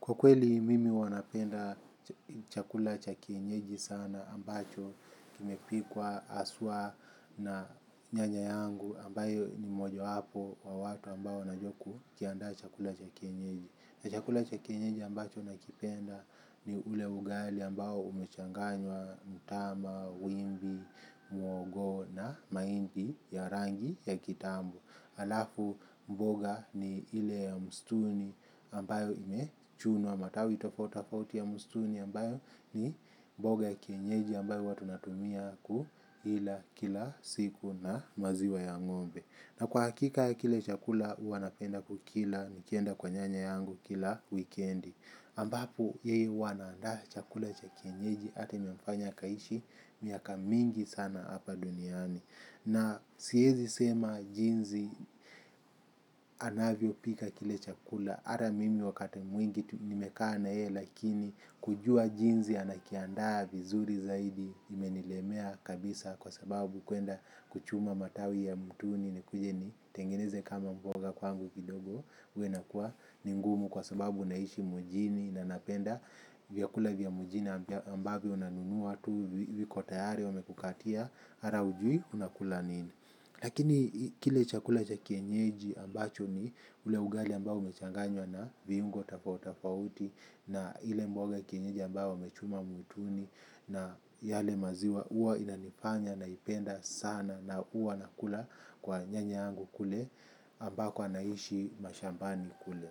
Kwa kweli mimi huwa napenda chakula cha kienyeji sana ambacho kimepikwa haswa na nyanya yangu ambayo ni mojawapo wa watu ambao wanajua kukiandaa chakula cha kienyeji. Chakula cha kienyeji ambacho nakipenda ni ule ugali ambao umechanganywa mtama, wimbi, muhogo na mahindi ya rangi ya kitambo. Alafu mboga ni ile ya msituni ambayo imechunwa matawi tofautitofauti ya msituni ambayo ni mboga ya kienyeji ambayo huwa tunatumia kuila kila siku na maziwa ya ng'ombe. Na kwa hakika kile chakula huwa napenda kukila nikienda kwa nyanya yangu kila wikendi. Ambapo yeye huwa anaandaa chakula ya kienyeji hata imemfanya akaishi miaka mingi sana hapa duniani. Na siezi sema jinsi anavyopika kile chakula. Ata mimi wakati mwingi tu nimekaa na yeye lakini kujua jinsi anakiandaa vizuri zaidi imenilemea kabisa kwa sababu kuenda kuchuma matawi ya mwituni nikuje ni tengeneze kama mboga kwangu kidogo huwa inakuwa ni ngumu kwa sababu naishi mjini na napenda vyakula vya mjini ambavyo unanunua tu viko tayari wamekukatia hata hujui unakula nini. Lakini kile chakula cha kienyeji ambacho ni ule ugali ambao umechanganywa na viungo tofautitofauti na ile mboga kienyeji ambayo wamechuma mwituni na yale maziwa huwa inanifanya naipenda sana na huwa nakula kwa nyanya yangu. Kule ambako anaishi mashambani kule.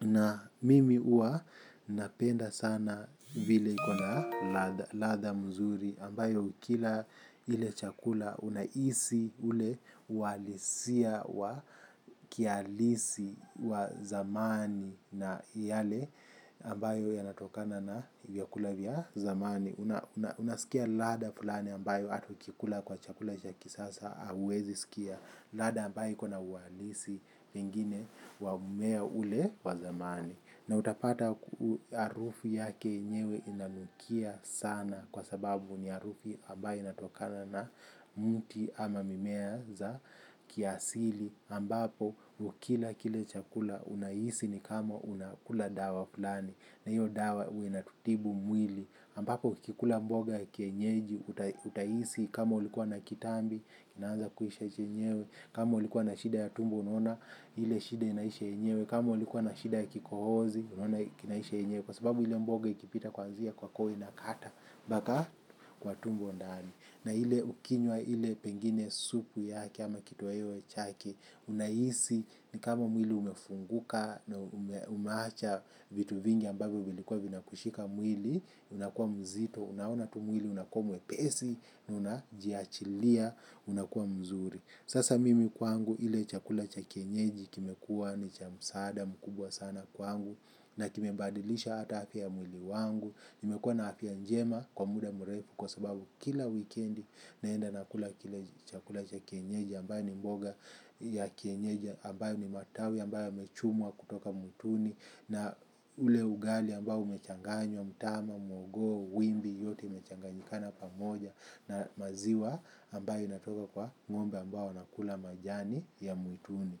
Na mimi huwa napenda sana vile iko na ladha. Ladha mzuri ambayo ukila ile chakula unahisi ule uhalisia wa kihalisi wa zamani na yale ambayo yanatokana na vyakula vya zamani. Unasikia ladha fulani ambayo hata ukikula kwa chakula cha kisasa hauwezi sikia ladha ambayo iko na uhalisi pengine wa mmea ule wa zamani. Na utapata arufi yake yenyewe inanukia sana kwa sababu ni harufi ambayo inatokana na mti ama mimea za kiasili. Ambapo ukila kile chakula unahisi ni kama unakula dawa fulani. Na hiyo dawa huwa inatutibu mwili. Ambapo ukikula mboga ya kienyeji utahisi kama ulikuwa na kitambi, kinaanza kuisha chenyewe. Kama ulikuwa na shida ya tumbo unaona ile shida inaisha yenyewe. Kama ulikuwa na shida ya kikohozi unaona kinaisha yenyewe. Kwa sababu ile mboga ikipita kuanzia kwa koo inakata mpaka kwa tumbo ndani. Na ile ukinywa ile pengine supu yake ama kituweo chake unahisi ni kama mwili umefunguka na umeacha vitu vingi ambavyo vilikuwa vinakushika mwili. Unakua mzito, unaona tu mwili unakua mwepesi. Unajiachilia unakuwa mzuri. Sasa mimi kwangu ile chakula cha kienyeji kimekuwa ni cha msaada mkubwa sana kwangu, na kimebadilisha hata afya ya mwili wangu. Nimekuwa na afya njema kwa muda mrefu kwa sababu kila wikendi naenda kula kile chakula cha kienyeji ambayo ni mboga ya kienyeji ambayo ni matawi ambayo yamechumwa kutoka mwituni na ule ugali ambao umechanganywa, mtama, muhogo, wimbi yote imechanganyikana pamoja na maziwa ambayo inatoka kwa ng'ombe ambao wanakula majani ya mwituni.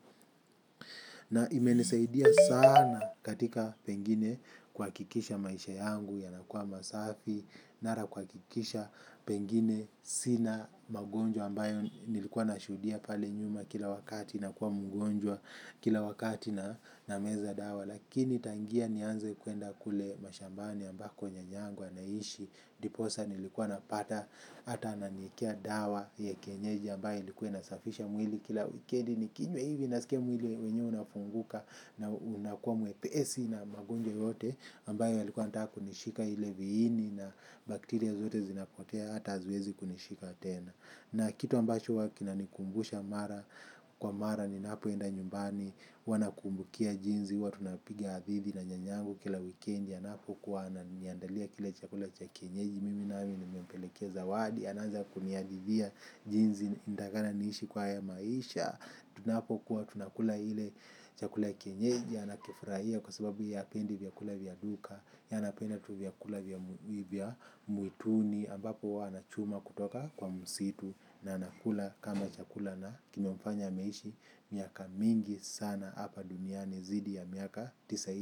Na imenisaidia sana katika pengine kuhakikisha maisha yangu yanakuwa masafi. Nara kuhakikisha pengine sina magonjwa ambayo nilikuwa nashuhudia pale nyuma kila wakati nakuwa mgonjwa kila wakati na nameza dawa. Lakini tangia nianze kuenda kule mashambani ambako nyanya yangu anaishi ndiposa nilikuwa napata hata ananiekea dawa hii ya kienyeji ambayo ilikuwa inasafisha mwili kila wikendi nikinywa hivi nasikia mwili wenyewe unafunguka na unakuwa mwepesi na magonjwa yote ambayo yalikuwa yanataka kunishika ile viini na bakteria zote zinapotea hata haziwezi kunishika tena. Na kitu ambacho huwa kinanikumbusha mara kwa mara ninapoenda nyumbani huwa nakumbukia jinsi huwa tunapiga hadithi na nyanyangu kila wikendi anapokuwa ananiandalia kile chakula cha kienyeji mimi nami nimempelekea zawadi anaanza kunihadithia jinsi inatakikana niishi kwa haya maisha. Tunapokuwa tunakula ile chakula kienyeji anakifurahia kwa sababu ye hapendi vyakula vya duka ye anapenda tu vyakula vya mwituni ambapo huwa anachuma kutoka kwa msitu na anakula kama chakula na kimemfanya ameishi miaka mingi sana hapa duniani zaidi ya miaka tisaini.